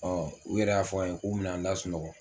Ɔ u yɛrɛ y'a fɔ n ye k'u bi na n lasunɔgɔ